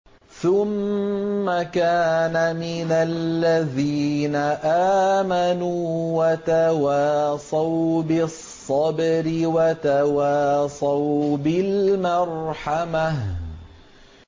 ثُمَّ كَانَ مِنَ الَّذِينَ آمَنُوا وَتَوَاصَوْا بِالصَّبْرِ وَتَوَاصَوْا بِالْمَرْحَمَةِ